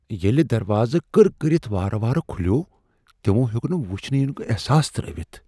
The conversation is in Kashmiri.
ییلہِ دروازٕ كٕر كرِتھ وارٕ وارٕ كھُلیوو، تِمو ہیوٚک نہٕ وُچھنہٕ یِنُك احساس ترٛٲوِتھ ۔